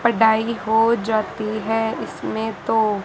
पढ़ाई हो जाती है इसमें तो।